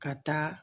Ka taa